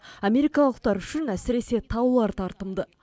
америкалықтар үшін әсіресе таулар тартымды